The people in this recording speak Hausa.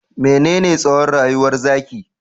Menene tsowon rayuwar zaki?